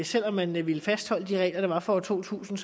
selv om man ville fastholde de regler der var for år to tusind